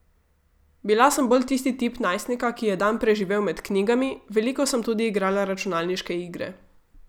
Bila sem bolj tisti tip najstnika, ki je dan preživel med knjigami, veliko sem tudi igrala računalniške igre.